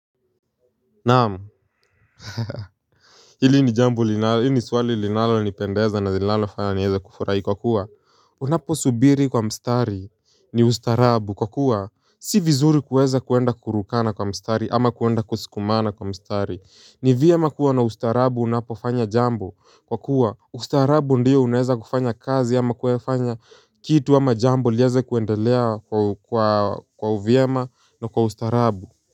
Naam, haha hili ni swali linalonipendeza na nilalofanya niweze kufurahi kwa kuwa unaposubiri kwa mstari ni ustaarabu kwa kuwa si vizuri kuweza kuenda kurukana kwa mstari ama kuenda kusukumana kwa mstari. Ni vyema kuwa na ustaarabu unapofanya jambo kwa kuwa ustaarabu ndio unaweza kufanya kazi ama kuyafanya kitu ama jambo liweze kuendelea kwa uvyema na kwa ustaarabu.